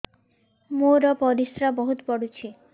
ମୋର ପରିସ୍ରା ବହୁତ ପୁଡୁଚି